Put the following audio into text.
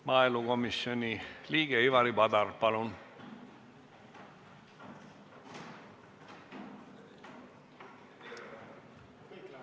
Maaelukomisjoni liige Ivari Padar, palun!